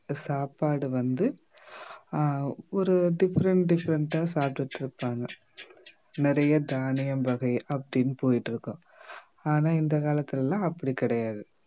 சாப்பாடு வந்து ஆஹ் ஒரு different different ஆ சாப்பிட்டிட்டிருப்பாங்க நிறைய தானியம் வகை அப்படின்னு போயிட்டு இருக்கும் ஆனா இந்த காலத்துல எல்லாம் அப்படி கிடையாது